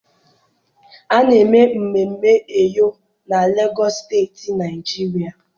A na-eme mmemme Eyo na Legọs Steeti Naịjiria.